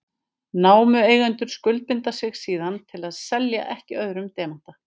Námueigendurnir skuldbinda sig síðan til að selja ekki öðrum demanta.